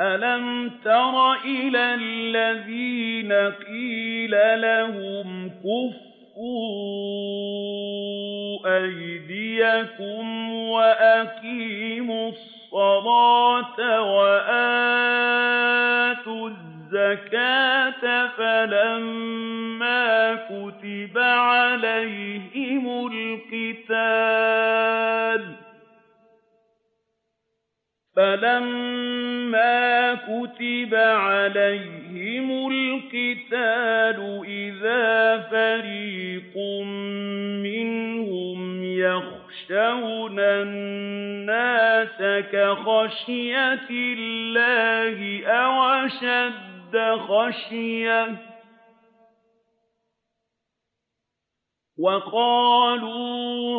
أَلَمْ تَرَ إِلَى الَّذِينَ قِيلَ لَهُمْ كُفُّوا أَيْدِيَكُمْ وَأَقِيمُوا الصَّلَاةَ وَآتُوا الزَّكَاةَ فَلَمَّا كُتِبَ عَلَيْهِمُ الْقِتَالُ إِذَا فَرِيقٌ مِّنْهُمْ يَخْشَوْنَ النَّاسَ كَخَشْيَةِ اللَّهِ أَوْ أَشَدَّ خَشْيَةً ۚ وَقَالُوا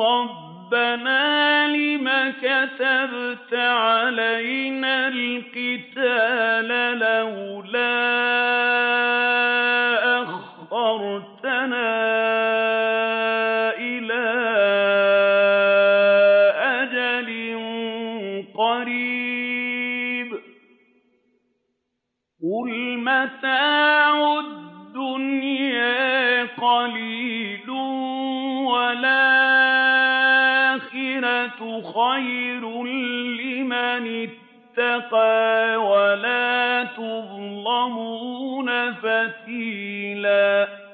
رَبَّنَا لِمَ كَتَبْتَ عَلَيْنَا الْقِتَالَ لَوْلَا أَخَّرْتَنَا إِلَىٰ أَجَلٍ قَرِيبٍ ۗ قُلْ مَتَاعُ الدُّنْيَا قَلِيلٌ وَالْآخِرَةُ خَيْرٌ لِّمَنِ اتَّقَىٰ وَلَا تُظْلَمُونَ فَتِيلًا